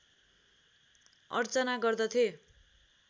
अर्चना गर्दथे